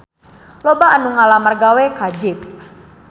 Loba anu ngalamar gawe ka Jeep